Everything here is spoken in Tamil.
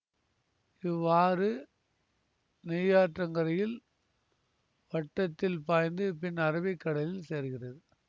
இவ்வாறு நெய்யாற்றன்கரை வட்டத்தில் பாய்ந்து பின் அரபிக் கடலில் சேர்கிறது